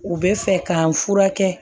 U bɛ fɛ k'an furakɛ